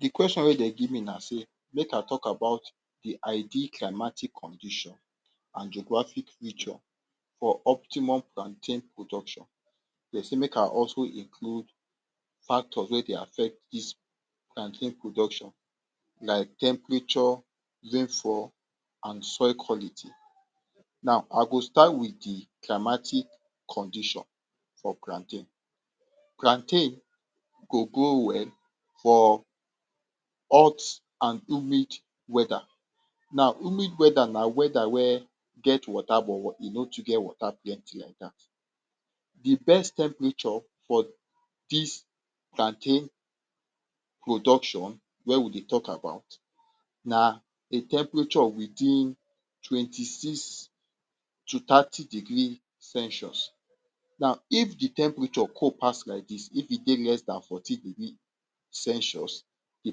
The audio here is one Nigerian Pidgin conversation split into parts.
De kweshon wey dem give me na sey make I tok about de ideal climatic condition and geographic feature for optimum plantain production. Dem say make I also include factors wey dey affect dis plantain production, like, temperature, rainfall and soil quality. Now, I go start with de climatic condition for plantain. Plantain go go grow well for hot and humid weather. Now, humid weather na weather wey get water but, e no too get water plenty laidat. De best temperature for dis plantain production wey we dey tok about na a temperature within twenty to thirty degree Celsius. Now, if de temperature cold pass laidis, if e dey less than fourteen degree Celsius, de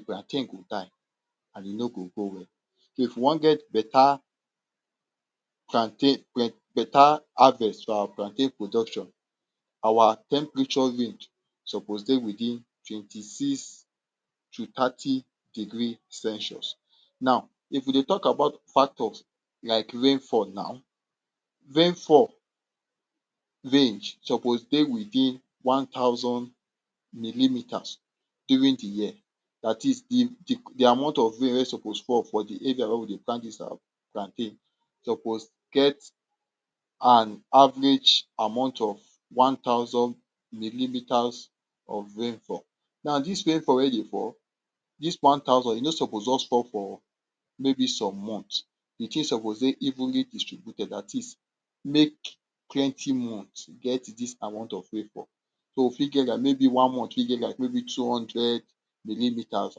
plantain go die and e no go grow well. If you wan get beta plantain beta harvest for our plantain production, our temperature range suppose dey within twenty-six to thirty degree Celsius. Now, if we dey tok about factors like rainfall nau, rainfall range suppose dey within one thousand millimeters during de year. Dat is, de de amount of rain wey suppose fall for de area wey we dey plant dis our plantain suppose get an average amount of one thousand millimeters of rainfall. Now, dis rainfall wey dey fall, dis one thousand, e no suppose just fall for maybe some months. De tin suppose dey evenly distributed. Dat is, make plenty months get dis amount of rainfall. Maybe we fit get one month wey get two hundred millimeters,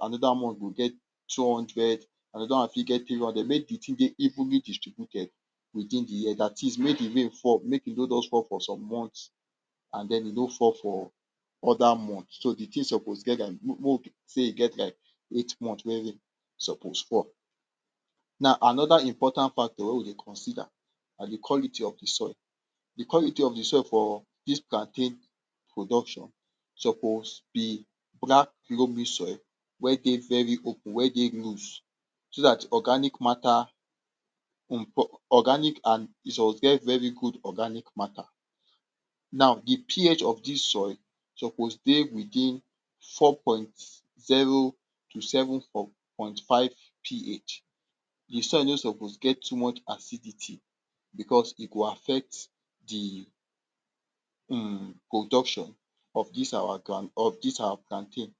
another month go get two hundred, another one fit get three hundred. Make de tin dey evenly distributed within de year. Dat is, make de rain fall, make e no just fall for some months, and den, e no fall for other months. So, de tin suppose get like we say e get um each month wey rain suppose. Now, another important factor wey we suppose consider na de quality of de soil. De quality of de soil for dis plantain production suppose be black loamy soil wey dey very open, wey dey loose so dat organic matter, organic and e suppose get very good organic matter. Now, de pH of this soil suppose dey within four point zero to seven point point five.PH De soil no suppose get too much acidity because e go affect de um production of dis our of dis our plantain.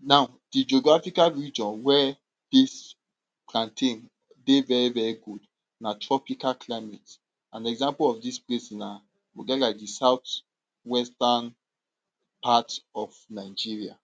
Now, de geographical region where dis plantain dey very very good na tropical climate. An example of dis place na, we get like de south western parts of Nigeria.